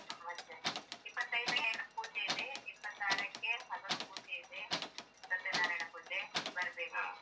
ಮತ್ತೇ ಇಪ್ಪತ್ತೈದಕ್ಕೆಲ್ಲ ಪೂಜೆ ಇದೆ ಇಪ್ಪತ್ತಾರಕ್ಕೆ ಹಗಲು ಪೂಜೆ ಇದೆ ಸತ್ಯನಾರಾಯಣ ಪೂಜೆ ಬರ್ಬೇಕು.